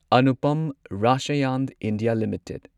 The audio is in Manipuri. Anupam Rasayan India limited